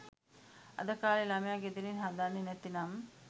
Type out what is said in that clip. අද කාලේ ළමය ගෙදරින් හදන්නේ නැතිනම්